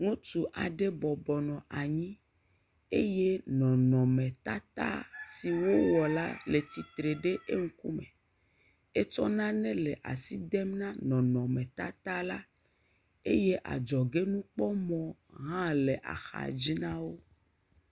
Ŋutsu aɖe bɔbɔnɔ anyi eye nɔnɔmetata si wowɔ la le tsitre ɖe eŋkumu, etsɔ nane le asi dem na nɔnɔmetata la, eye edzɔ ge kpɔmɔ aɖe le axa dzi na wo.